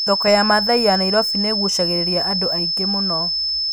Thoko ya Maathai ya Nairobi nĩ ĩgucagĩrĩria andũ aingĩ mũno.